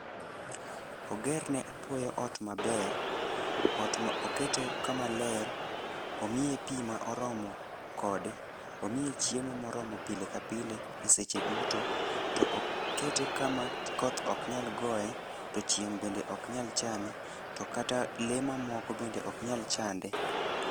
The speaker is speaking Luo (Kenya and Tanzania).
Ogerne apuoyo ot maber. Ot ma okete kamaler. Omiye pi ma oromo kode. Omiye chiemo ma oromo pile ka pile e seche duto. To okete kama koth oknyal goye, to chieng' bende ok nyal chame, to kata le mamoko bende ok nyal chande.